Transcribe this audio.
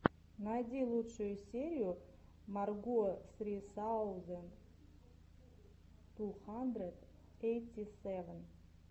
найди лучшую серию марго сри саузэнд ту хандрэд ейти сэвэн